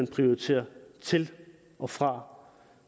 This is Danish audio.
prioritere til og fra